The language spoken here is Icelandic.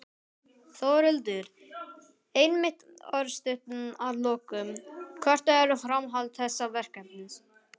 Þórhildur: Einmitt, örstutt að lokum, hvert er framhald þessa verkefnis?